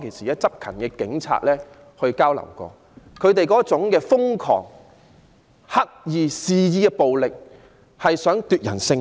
有執勤的警員當時向我表示，示威者瘋狂、刻意肆意的暴力旨在奪人性命。